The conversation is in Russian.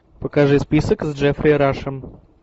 покажи список с джеффри рашем